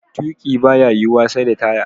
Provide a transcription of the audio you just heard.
Tuƙi baya yiwuwa sai da taya.